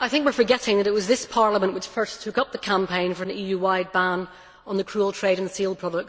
I think we are forgetting that it was this Parliament which first took up the campaign for an EU wide ban on the cruel trade in seal products.